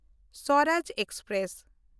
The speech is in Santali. ᱥᱚᱨᱟᱡᱽ ᱮᱠᱥᱯᱨᱮᱥ